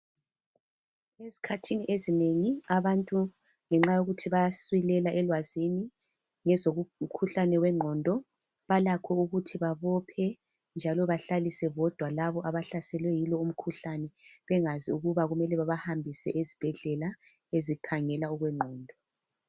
Ezikhathini ezinengi abantu ngenxa yokuthi bayasilela elwazini ngezomkhuhlane wengqondo balakho ukuthi babophe njalo bahlaliswe bodwa labo abahlaselwe yilo umkhuhlane bengazi ukuba kumele babahambise ezibhedlela ezikhangela okwengqondo.